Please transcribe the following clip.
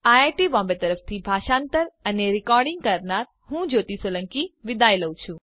અને આઈઆઈટી બોમ્બે તરફથી ભાષાંતર કરનાર હું જ્યોતિ સોલંકી વિદાય લઉં છું